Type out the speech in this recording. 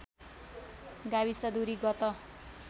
गाविस दूरी गत